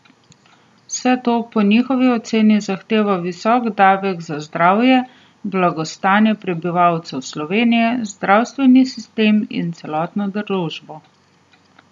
Vse to po njihovi oceni zahteva visok davek za zdravje, blagostanje prebivalcev Slovenije, zdravstveni sistem in celotno družbo.